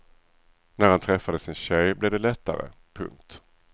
När han träffade sin tjej blev det lättare. punkt